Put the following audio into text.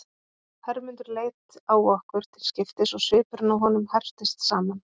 Hermundur leit á okkur til skiptis og svipurinn á honum herptist saman.